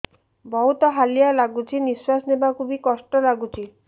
ବହୁତ୍ ହାଲିଆ ଲାଗୁଚି ନିଃଶ୍ବାସ ନେବାକୁ ଵି କଷ୍ଟ ଲାଗୁଚି